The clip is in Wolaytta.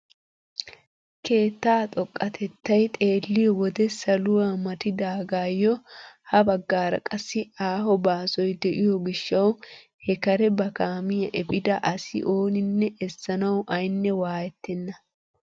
Keettaa xoqatettay xeelliyoo wode saluwaa matidagayoo ha baggaara qassi aaho baasoy de'iyoo gishshawu he kare ba kaamiyaa epiida asi ooninne essanawu ayne waayettena.